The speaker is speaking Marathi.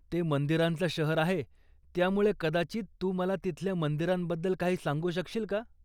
ते मंदिरांचं शहर आहे, त्यामुळे कदाचित तू मला तिथल्या मंदिरांबद्दल काही सांगू शकशील का?